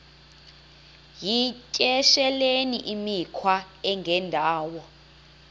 yityesheleni imikhwa engendawo